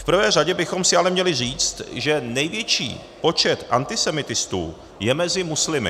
V prvé řadě bychom si ale měli říct, že největší počet antisemitistů je mezi muslimy.